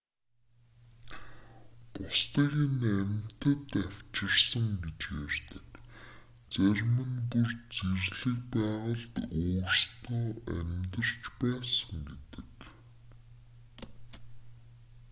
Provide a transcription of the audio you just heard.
бусдыг нь амьтад авчирсан гэж ярьдаг зарим нь бүр зэрлэг байгальд өөрсдөө амьдарч байсан гэдэг